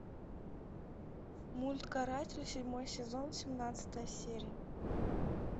мульт каратель седьмой сезон семнадцатая серия